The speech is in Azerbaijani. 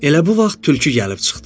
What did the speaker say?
Elə bu vaxt tülkü gəlib çıxdı.